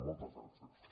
moltes gràcies